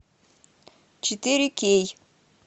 четыре кей